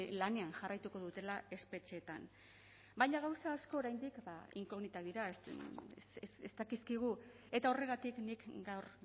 lanean jarraituko dutela espetxeetan baina gauza asko oraindik ba inkognitak dira ez dakizkigu eta horregatik nik gaur